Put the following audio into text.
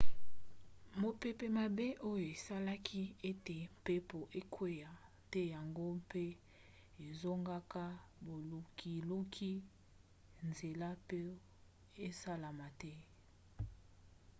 mopepe mabe oyo esalaki ete mpepo ekwea te yango mpe ezokanga bolukiluki nzela po esalama te